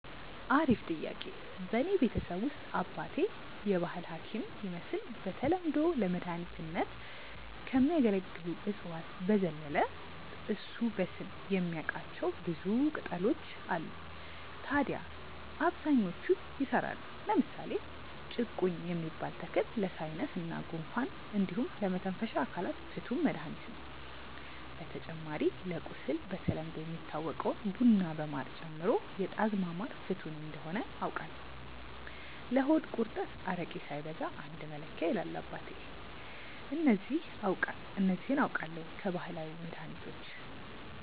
አሪፍ ጥያቄ፣ በእኔ ቤተሰብ ውስጥ አባቴ የባህል ሀኪም ይመስል በተለምዶ ለመድኃኒትነት ከሚያገለግሉ እፅዋት በዘለለ እሱ በስም የሚያቃቸው ብዙ ቅጣሎች አሉ ታድያ አብዛኞቹ ይሰራሉ። ለምሳሌ ጭቁኝ የሚባል ተክል ለሳይነስ እና ጉንፋን እንዲሁም ለመተንፈሻ አካላት ፍቱን መድሀኒት ነው። በተጨማሪ ለቁስል በተለምዶ የሚታወቀውን ቡና በማር ጨምሮ የጣዝማ ማር ፍቱን እንደሆነ አውቃለው። ለሆድ ቁርጠት አረቄ ሳይበዛ አንድ መለኪያ ይላል አባቴ። እነዚህ አውቃለው ከባህላዊ መድሀኒቶች።